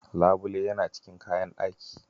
Labule yana cikin kayan ɗaki.